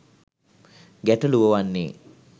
ගැටළුව වන්නේ